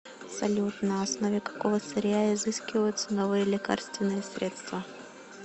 салют на основе какого сырья изыскиваются новые лекарственные средства